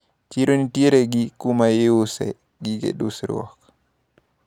Chiro nitiere gi kuma iuse gige dusruok.